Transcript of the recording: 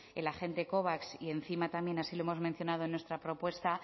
el agente covax y encima también así lo hemos mencionado en nuestra propuesta